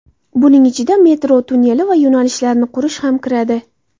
Buning ichida metro tunneli va yo‘nalishlarini qurish ham kiradi.